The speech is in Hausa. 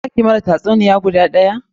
Za ki mana tatsuniya guda daya?